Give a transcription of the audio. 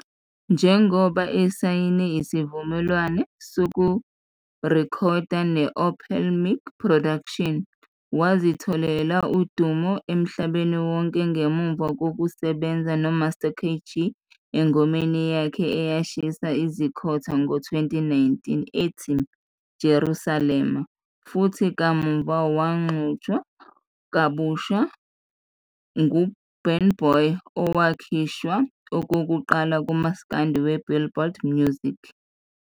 Njengoba esayine isivumelwano sokurekhoda ne-Open Mic Productions, wazitholela udumo emhlabeni wonke ngemuva kokusebenza noMaster KG engomeni yakhe eyashisa izikhotha ngo-2019 ethi " Jerusalema " futhi kamuva waxutshwa kabusha nguBurna Boy, owakhishwa okokuqala kumaskandi weBillboard Music.